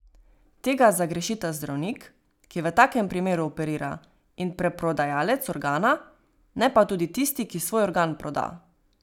Tega zagrešita zdravnik, ki v takem primeru operira, in preprodajalec organa, ne pa tudi tisti, ki svoj organ proda.